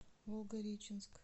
волгореченск